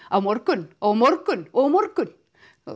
á morgun á morgun og á morgun